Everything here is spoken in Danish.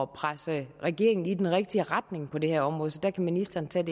presse regeringen i den rigtige retning på det her område så der kan ministeren tage